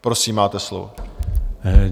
Prosím, máte slovo.